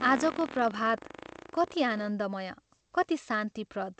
आजको प्रभात, कति आनन्दमय कति शान्तिप्रद!